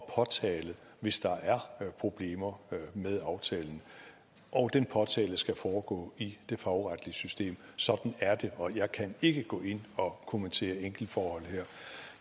og påtale hvis der er problemer med aftalen og den påtale skal foregå i det fagretlige system sådan er det og jeg kan ikke gå ind og kommentere enkeltforhold her